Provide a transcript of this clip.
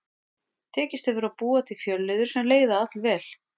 Tekist hefur að búa til fjölliður sem leiða allvel.